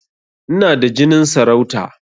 Ina da jinin sarauta